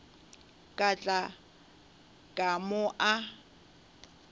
ka tla ka mo a